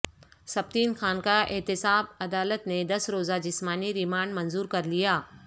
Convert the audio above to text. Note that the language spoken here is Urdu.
سبطین خان کا احتساب عدالت نے دس روزہ جسمانی ریمانڈ منظور کر لیا